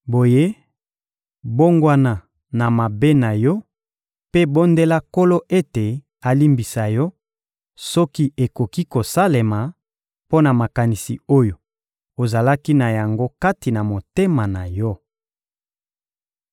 Boye, bongwana na mabe na yo mpe bondela Nkolo ete alimbisa yo, soki ekoki kosalema, mpo na makanisi oyo ozalaki na yango kati na motema na yo.